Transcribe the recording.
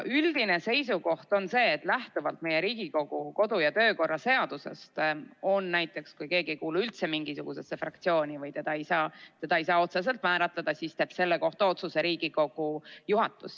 Üldine seisukoht on see: lähtuvalt meie Riigikogu kodu- ja töökorra seadusest on nii, et kui keegi ei kuulu üldse mingisugusesse fraktsiooni või teda ei saa otseselt määratleda, siis teeb selle kohta otsuse Riigikogu juhatus.